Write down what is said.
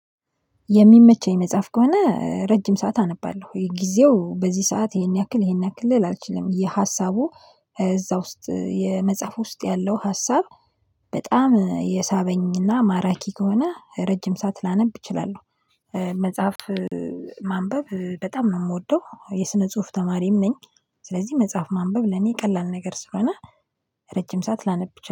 የሚመቸኝ መጽሐፍ ከሆነ ረጅም ሰዓት አነባለሁ፤ ጊዜው በዚህ ሰዓት ይሄን ያክል ይሄን ያክል ልል አልችልም። ሀሳቡ እዛ ውስጥ መጽሐፍ ውስጥ ያለው ሀሳብ በጣም የሳበኝና ማራኪ ከሆነ ረጅም ሰዓት ላነብ እችላለሁ። መጽሐፍ ማንበብ በጣም ነው የምወደው የስነ ጽሁፍ ተማሪም ነኝ፤ ስለዚህ መጽሐፍ ማንበብ ለኔ ቀላል ነገር ስለሆነ ረጅም ሰዓት ላነብ